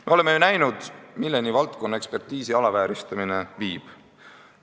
Me oleme ju näinud, milleni valdkonnaekspertiisi alavääristamine viib.